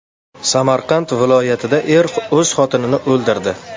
Samarqand viloyatida er o‘z xotinini o‘ldirdi.